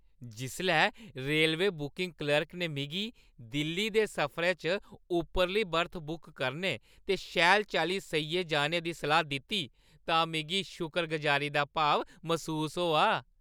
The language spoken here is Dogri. जिसलै रेलवे बुकिंग क्लर्क ने मिगी दिल्ली दे सफरै च उप्परली बर्थ बुक करने ते शैल चाल्ली सेइयै जाने दा सलाह् दित्ती तां मिगी शुकरगुजारी दा भाव मसूस होआ ।